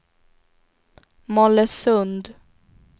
Mollösund